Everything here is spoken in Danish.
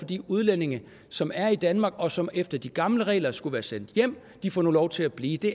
de udlændinge som er i danmark og som efter de gamle regler skulle være sendt hjem og de får nu lov til at blive det